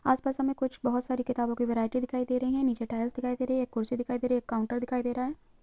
आस पास हमे कुछ बोहोत सारी किताबों की वैरायटी दिखाई दे रही है नीचे टाइल्स दिखाई दे रही है एक कुर्सी दिखाई दे रही है एक काउंटर दिखाई दे रहा हैं।